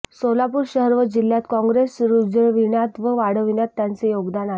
सोलापूर शहर व जिल्ह्यात काँग्रेस रुजविण्यात व वाढविण्यात त्यांचे योगदान आहे